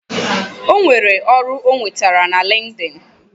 Enwere ọrụ ọ nwetere na linkedin